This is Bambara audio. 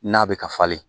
N'a bɛ ka falen